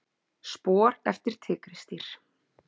Spor eftir tígrisdýr.